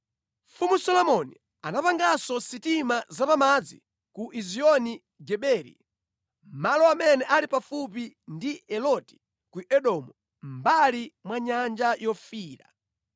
Mfumu Solomoni anapanganso sitima zapamadzi ku Ezioni Geberi, malo amene ali pafupi ndi Eloti ku Edomu, mʼmbali mwa Nyanja Yofiira.